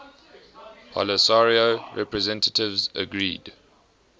polisario representatives agreed